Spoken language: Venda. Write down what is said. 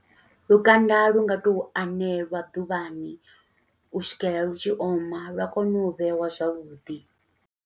Lukanda lu nga tou aneliwa ḓuvhani, u swikela lu tshi oma, lwa kono u vheiwa zwavhuḓi.